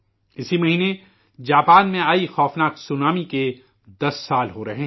اسی مہینے جاپان میں آئی بھیانک سونامی کو 10 سال ہو رہے ہیں